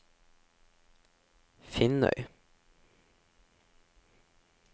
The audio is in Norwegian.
Finnøy